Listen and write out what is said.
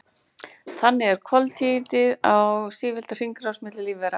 Þannig er koltvíildið á sífelldri hringrás milli lífvera.